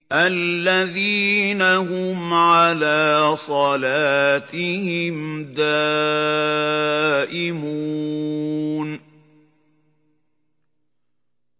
الَّذِينَ هُمْ عَلَىٰ صَلَاتِهِمْ دَائِمُونَ